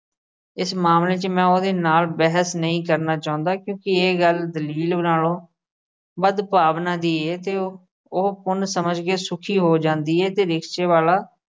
ਇਸ ਮਾਮਲੇ 'ਚ ਮੈਂ ਉਹਦੇ ਨਾਲ ਬਹਿਸ ਨਹੀਂ ਕਰਨਾ ਚਾਹੰਦਾ ਕਿਉਂਕਿ ਇਹ ਗੱਲ ਦਲੀਲ ਨਾਲੋਂ ਵੱਧ ਭਾਵਨਾ ਦੀ ਏ ਤੇ ਉ ਅਹ ਉਹ ਪੁੁੰਨ ਸਮਝ ਕੇ ਸੁਖੀ ਹੋ ਜਾਂਦੀ ਏ ਤੇ rickshaw ਵਾਲਾ